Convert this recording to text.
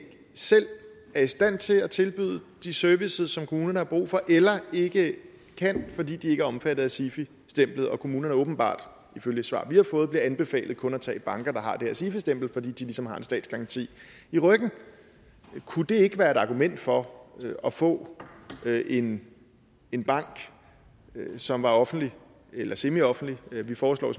selv er i stand til at tilbyde de serviceydelser som kommunerne har brug for eller ikke kan fordi de ikke er omfattet af sifi stemplet og kommunerne åbenbart ifølge et svar vi har fået bliver anbefalet kun at tage banker der har det her sifi stempel fordi de ligesom har en statsgaranti i ryggen kunne det ikke være et argument for at få en en bank som var offentlig eller semioffentlig vi foreslår